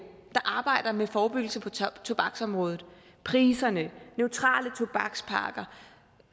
der arbejder med forebyggelse på tobaksområdet priserne neutrale tobakspakker